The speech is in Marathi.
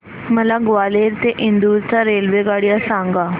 मला ग्वाल्हेर ते इंदूर च्या रेल्वेगाड्या सांगा